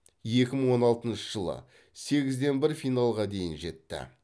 екі мың он алтыншы жылы сегізден бір финалға дейін жетті